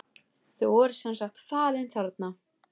Þau voru sem sagt falin þarna.